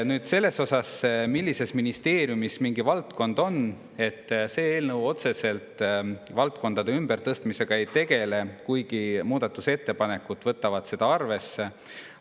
Nüüd, see, millise ministeeriumi all mingi valdkond on – see eelnõu otseselt valdkondade ümbertõstmisega ei tegele, kuigi muudatusettepanekutes võetakse seda arvesse.